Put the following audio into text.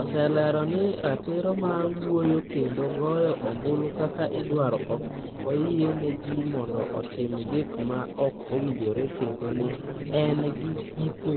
oselero ni ratiro mar wuoyo kendo goyo ombulu kaka idwaro ok oyiene ji mondo otim gik ma ok owinjore kendo ni en gi giko.